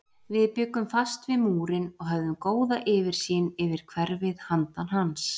Við bjuggum fast við Múrinn og höfðum góða yfirsýn yfir hverfið handan hans.